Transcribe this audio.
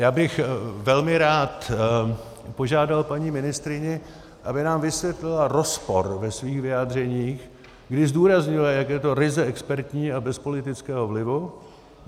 Já bych velmi rád požádal paní ministryni, aby nám vysvětlila rozpor ve svých vyjádřeních, kdy zdůraznila, jak je to ryze expertní a bez politického vlivu.